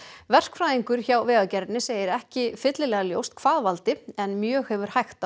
verkfræðingur hjá Vegagerðinni segir ekki fyllilega ljóst hvað valdi en mjög hefur hægt á